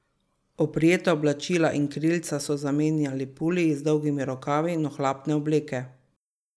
Oprijeta oblačila in krilca so zamenjali puliji z dolgimi rokavi in ohlapne obleke.